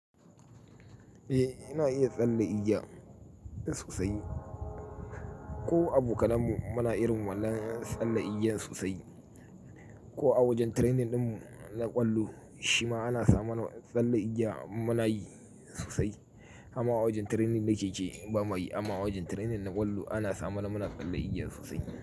Eh, ina iya tsalle igiya ɗin sosai. Ko abu kalanmu muna irin wallan tsalle igiya sosai. Ko a wajen training ɗin na ƙwallo, shi ma ana samu tsallen igiya muna yi sosai. Harma a wajen training na keke ba mayi. Amma a wajen training na ƙwallo ana samu muna tsallen igiya sosai.